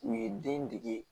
U ye den dege